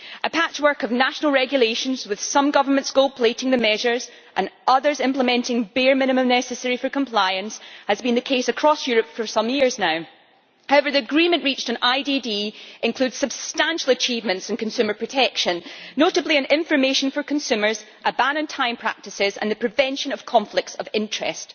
A patchwork of national regulations, with some governments gold plating the measures and others implementing the bare minimum necessary for compliance, has been the case across Europe for some years now. However, the agreement reached on IDD includes substantial achievements in consumer protection, notably on information for consumers, a ban on time practices and the prevention of conflicts of interest.